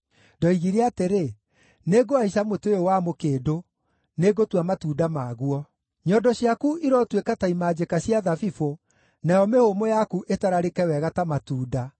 Ndoigire atĩrĩ, “Nĩngũhaica mũtĩ ũyũ wa mũkĩndũ; nĩngũtua matunda maguo.” Nyondo ciaku irotuĩka ta imanjĩka cia thabibũ, nayo mĩhũmũ yaku ĩtararĩke wega ta matunda,